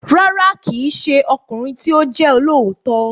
Rárá, kì í ṣe ọkùnrin tí ó jẹ́ olóòótọ́